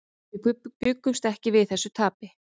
Við bjuggumst ekki við þessu tapi.